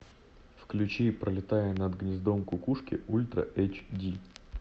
включи пролетая над гнездом кукушки ультра эйч ди